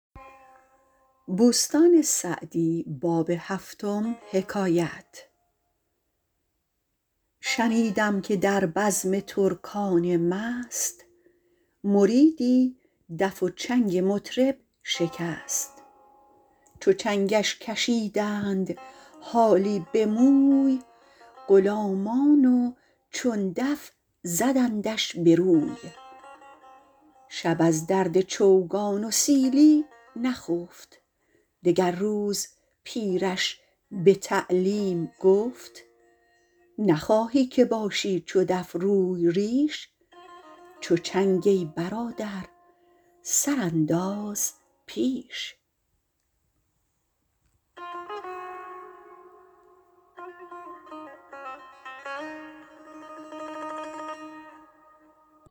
شنیدم که در بزم ترکان مست مریدی دف و چنگ مطرب شکست چو چنگش کشیدند حالی به موی غلامان و چون دف زدندش به روی شب از درد چوگان و سیلی نخفت دگر روز پیرش به تعلیم گفت نخواهی که باشی چو دف روی ریش چو چنگ ای برادر سر انداز پیش